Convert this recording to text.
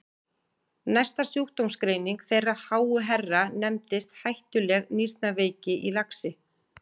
Næsta sjúkdómsgreining þeirra háu herra nefndist hættuleg nýrnaveiki í laxi!